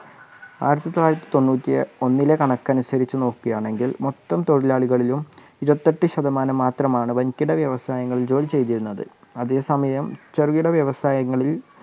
ആയിരത്തിത്തൊളളായിരത്തിതൊണ്ണൂറ്റിഒന്നിലെ കണക്ക് അനുസരിച്ച് നോക്കുകയാണെങ്കിൽ മൊത്തം തൊഴിലാളികളിലും ഇരുപതിഎട്ടു ശതമാനം മാത്രമാണ് വന്‍കിട വ്യവസയങ്ങളിൽ ജോലിചെയ്തിരുന്നത് അതെ സമയം ചെറുകിട വ്യവസായങ്ങളിൽ